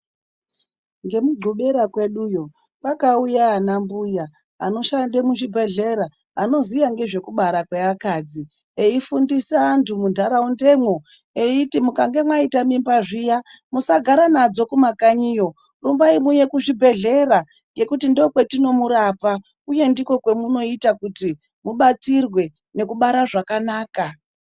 Ngemugubera kweduyo kwakauya ana mbuya anoshande muzvibhedhlera anoziya ngezvekubara kweakadzi ,eifundisa antu munharaundemwo eiti, "mukange mwaita mimba zviya ,musagara nadzo kumakanyiyo rumbai muuye kuzvibhedhlera ,ngekuti ndokwetinomurapa, uye ndikwo kwemunoita kuti ubatsirwe nekubara zvakanaka".